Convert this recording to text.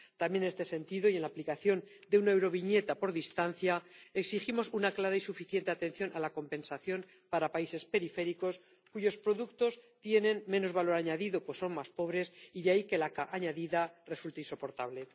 También en este sentido y respecto de la aplicación de una euroviñeta por distancia, exigimos una clara y suficiente atención a la compensación para países periféricos, cuyos productos tienen menos valor añadido, pues son más pobres, y de ahí que la carga añadida resulte insoportable.